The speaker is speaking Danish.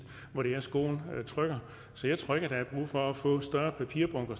hvor skoen trykker så jeg tror ikke at der er brug for at få større papirbunker